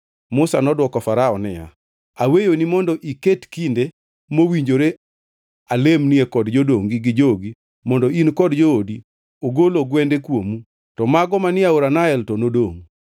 Musa nodwoko Farao niya, “Aweyoni mondo iket kinde mowinjore alemnie kod jodongi gi jogi mondo in kod joodi ogol ogwende kuomu, to mago manie aora Nael to nodongʼ.”